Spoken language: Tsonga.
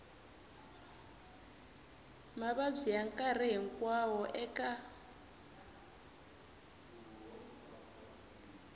mavabyi ya nkarhi hinkwawo eka